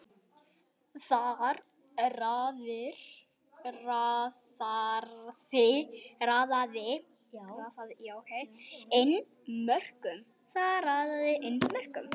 Þar raðaði inn mörkum.